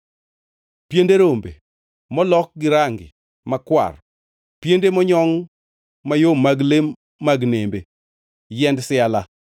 piende rombe molok gi range makwar, piende monyongʼ mayom mag le mag nembe; yiend siala,